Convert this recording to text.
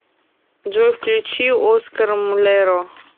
джой включи оскар мулеро